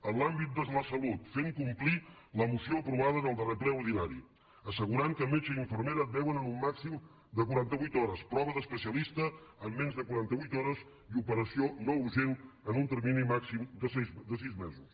en l’àmbit de la salut fer complir la moció aprovada en el darrer ple ordinari i assegurar que metge i infermera et veuen en un màxim de quaranta vuit hores prova d’especialista en menys de quaranta vuit hores i operació no urgent en un termini màxim de sis mesos